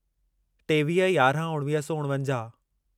टेवीह यारहं उणिवीह सौ उणिवंजाहु